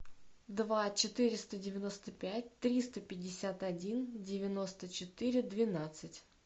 два четыреста девяносто пять триста пятьдесят один девяносто четыре двенадцать